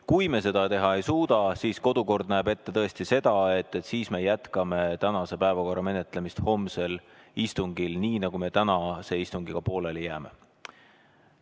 Kui me seda teha ei suuda, siis kodukord näeb ette tõesti seda, et me jätkame tänase päevakorra menetlemist homsel istungil sealt, kuhu me tänase istungiga pooleli jääme.